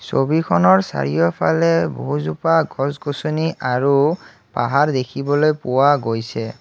ছবিখনৰ চাৰিওফালে বাহু জোপা গছ-গছনি আৰু পাহাৰ দেখিবলৈ পোৱা গৈছে।